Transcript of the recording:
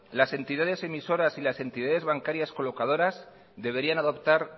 las entidades emisoras y las entidades bancarias colocadores deberían adoptar